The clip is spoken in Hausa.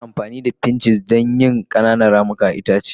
Ana amfani da pinches don yin ƙananan ramuka akan itace.